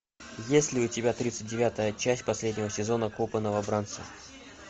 есть ли у тебя тридцать девятая часть последнего сезона копы новобранцы